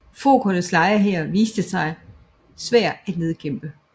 Fokernes lejehær viste sig svær at nedkæmpe